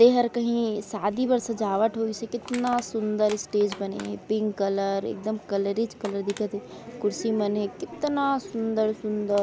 ए हर कहीं शादी बर सजावट होई से कितना सुंदर स्टेज बने है पिंक कलर एक दम कलरेच कलर दिखत है कुर्सी मन हे कितना सुंदर-सुंदर --